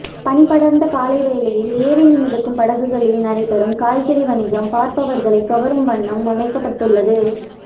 பனிபடர்ந்த காலை வேளையில் ஏரியில் மிதக்கும் படகுகளில் நடைபெறும் காய்கறி வணிகம் பார்பவர்களை கவரும் வண்ணம் அமைக்கப்பட்டுள்ளது